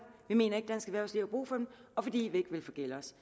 vi mener ikke dansk erhvervsliv har brug for dem og fordi vi ikke vil forgælde os